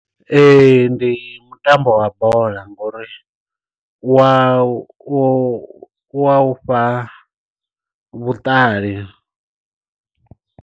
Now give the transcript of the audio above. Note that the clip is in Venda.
Ee ndi mutambo wa bola ngori wa u wa u fha vhuṱali.